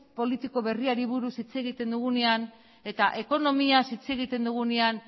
politiko berriari buruz hitz egiten dugunean eta ekonomiaz hitz egiten dugunean